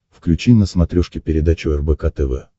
включи на смотрешке передачу рбк тв